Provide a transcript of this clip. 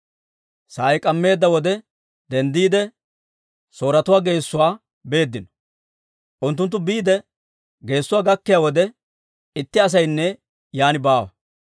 Sa'ay k'ammeedda wode denddiide, Sooretuwaa geessuwaa beeddino. Unttunttu biide geessuwaa gakkiyaa wode, itti asaynne yaan baawa!